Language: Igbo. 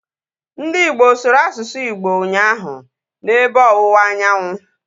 Ndị Igbo sụrụ asụsụ Igbo ụnyaahụ, na ebe ọwụwa anyanwụ